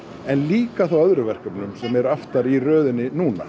en líka þá öðrum verkefnum sem eru aftar í röðinni núna